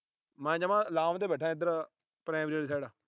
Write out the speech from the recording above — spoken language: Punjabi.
ਮੈਂ ਜਮਾਂ ਲਾਮ ਤੇ ਬੈਠਾ ਇਧਰ। primary ਆਲੀ side